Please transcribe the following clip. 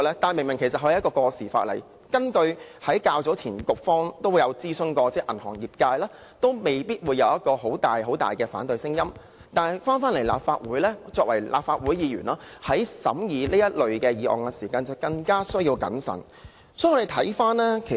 這是一項過時的法例，當局較早前曾諮詢銀行業界，業界未必會有很大的反對聲音，但作為立法會議員，審議此類《條例草案》時就有需要更謹慎。